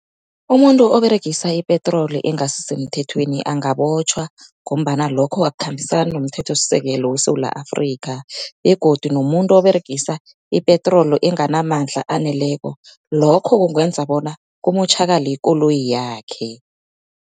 Umuntu oberegisa ipetroli engasi semthethweni angabotjhwa, ngombana lokho akukhambisani nomthethosisekelo weSewula Afrika. Begodu nomuntu oberegisa ipetroli enganamandla aneleko, lokho kungenza bona kumotjhakale ikoloyi yakhe.